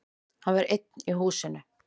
Hann var einn í húsinu.